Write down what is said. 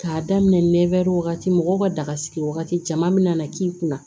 K'a daminɛ nɛ wagati daga sigi wagati caman min na k'i kunna